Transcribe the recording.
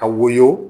Ka woyo